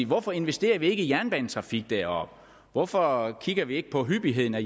hvorfor investerer vi ikke i jernbanetrafik deroppe hvorfor kigger vi ikke på hyppigheden af